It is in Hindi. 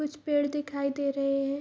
कुछ पेड़ दिखाई दे रहे हैं।